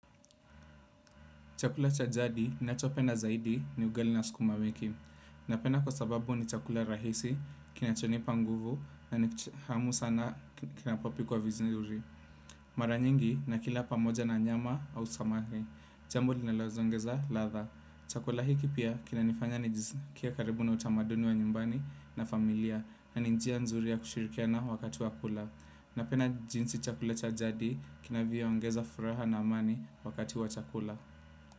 Chakula cha jadi, ninachopenda zaidi ni ugali na sukuma wiki. Napenda, kwa sababu ni chakula rahisi, kinachonipa nguvu na ni tamu sana kinapopikwa vizuri. Mara nyingi, nakila pamoja na nyama au samaki. Jambo linaloongeza ladhaa. Chakula hiki pia, kinanifanya nijiskie karibu na utamaduni wa nyumbani na familia, na ni njia nzuri ya kushirikiana wakati wa kula. Napenda jinsi chakula cha jadi, kinavyo ongeza furaha na amani wakati wa chakula.